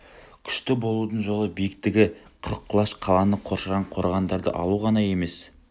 күшті болудың жолы биіктігі қырық құлаш қаланы қоршаған қорғандарды алу ғана емес